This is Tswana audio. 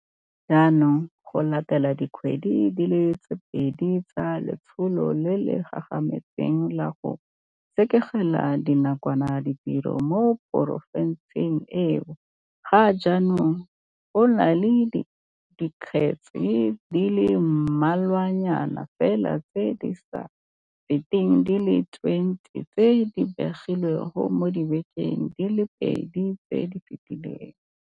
Jaanong, go latela dikgwedi di le pedi tsa letsholo le le gagametseng la go sekegela nakwana ditiro mo porofenseng eo, ga jaanong go na le dikgetse di le mmalwanyana fela tse di sa feteng di le 20 tse di begilweng mo dibekeng di le pedi tse di fetileng.